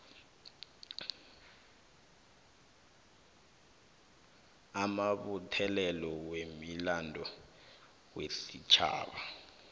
amabuthelelo wemilando wesitjhaba